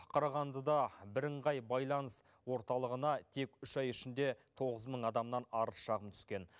қарағандыда бірыңғай байланыс орталығына тек үш ай ішінде тоғыз мың адамнан арыз шағым түскен